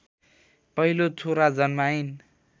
पहिलो छोरा जन्माइन्